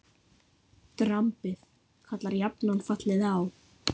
Drambið kallar jafnan fallið á.